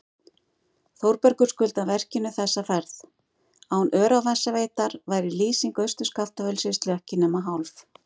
Þórbergur skuldar verkinu þessa ferð, án Öræfasveitar væri lýsing Austur-Skaftafellssýslu ekki nema hálf.